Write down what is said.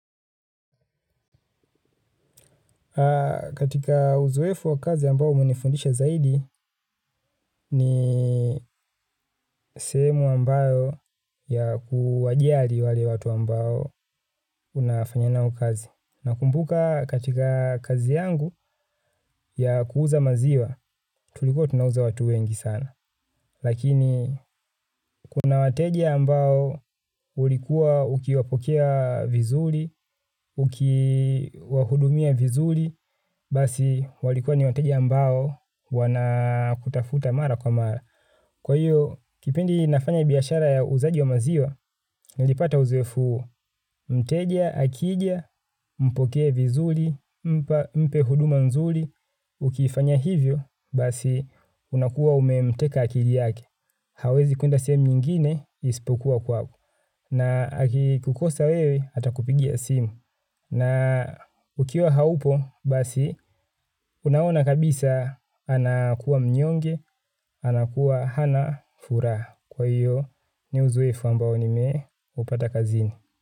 Katika uzoefu wa kazi ambao umenifundisha zaidi ni sehemu ambayo ya kuwajali wale watu ambao unafanya nao kazi. Nakumbuka katika kazi yangu ya kuuza maziwa tulikuwa tunauza watu wengi sana. Lakini kuna wateja ambao ulikuwa ukiwapokea vizuri, ukiwahudumia vizuri, basi walikuwa ni wateja ambao wana kutafuta mara kwa mara. Kwa hiyo, kipindi nafanya biashara ya uuzaji wa maziwa, nilipata uzoefu mteja, akija, mpokee vizuri, mpe huduma nzuri, ukifanya hivyo, basi unakuwa umemteka akili yake. Hawezi kuenda sehemu nyingine ispokuwa kwako na akikukosa wewe atakupigia simu na ukiwa haupo basi unaona kabisa anakuwa mnyonge anakuwa hana furaha kwa hiyo ni uzoefu ambao nimeupata kazini.